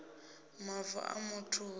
mavu a muthu hu si